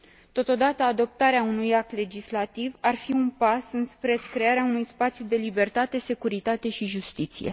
Totodată, adoptarea unui act legislativ ar fi un pas înspre crearea unui spațiu de libertate, securitate și justiție.